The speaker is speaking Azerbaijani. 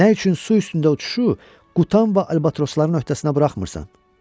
Nə üçün su üstündə uçuşu qutan və albatrosların öhdəsinə buraxmırsan?